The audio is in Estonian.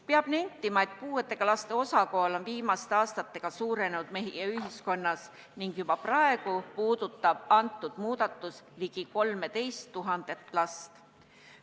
Peab nentima, et puudega laste osakaal on meie ühiskonnas viimaste aastatega suurenenud ning juba praegu puudutab see muudatus ligi 13 000 last.